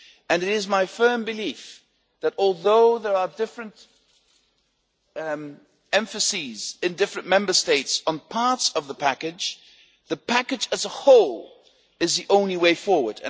It is my firm belief that, although there are different emphases in different Member States on parts of the package, the package as a whole is the only way forward.